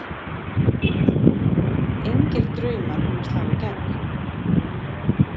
Hafsteinn Hauksson: Engir draumar um að slá í gegn?